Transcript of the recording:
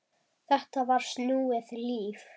Þetta var snúið líf.